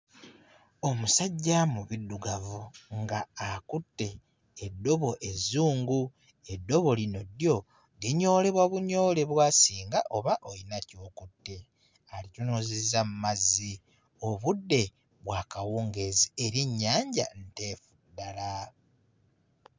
Omusajja mu biddugavu ng'akutte eddobo ezzungu, eddobo lino lyo linyoolebwa bunyoolebwa singa oba oyina ky'okutte. Alitunuzizza mu mazzi, obudde bwa kawungeezi era ennyanja nteefu ddala.